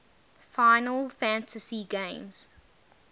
final fantasy games